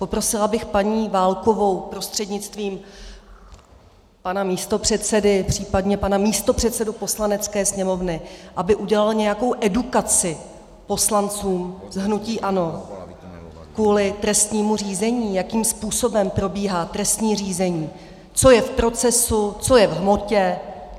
Poprosila bych paní Válkovou prostřednictvím pana místopředsedy, popřípadě pana místopředsedu Poslanecké sněmovny, aby udělal nějakou edukaci poslanců z hnutí ANO kvůli trestnímu řízení, jakým způsobem probíhá trestní řízení, co je v procesu, co je v hmotě.